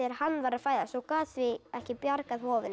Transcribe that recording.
hann var að fæðast og gat því ekki bjargað hofinu